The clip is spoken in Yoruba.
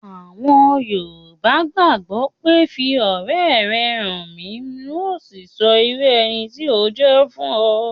Àwọn yoòbá gbàgbọ̀ pé 'fi ọ̀rẹ́ rẹ hàn mí ùn o sì sọ irú ẹni tí o jẹ́ fún ọ'